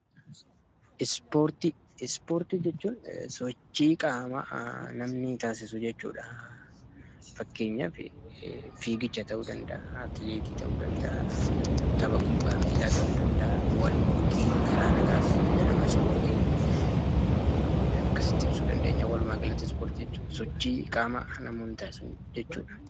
Ispoortii jechuun sochii qaamaa namni tokko taasisu jechuudha. Fakkeenyaaf: fiigicha, tapha kubbaa miilaa fa'i ta'uu danda'a.